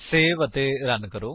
save ਅਤੇ run ਕਰੋ